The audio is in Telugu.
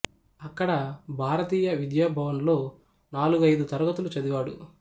అక్కడ భారతీయ విద్యాభవన్ లో నాలుగు ఐదు తరగతులు చదివాడు